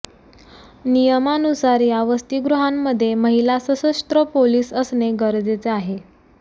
नियमानुसार या वसतीगृहांमध्ये महिला सशस्त्र पोलीस असणे गरजेचे आहे